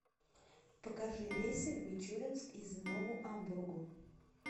покажи рейсы в мичуринск из нову амбургу